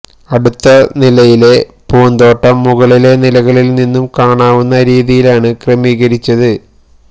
അടുത്ത നിലയിലെ പൂന്തോട്ടം മുകളിലെ നിലകളിൽ നിന്നും കാണാവുന്ന രീതിയിലാണ് ക്രമീകരിച്ചത്